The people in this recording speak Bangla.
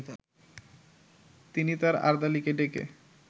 তিনি তার আর্দালিকে ডেকে